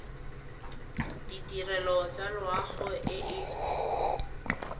ditirelo tsa loago e e